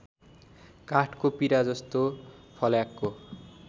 काठको पिराजस्तो फल्याकको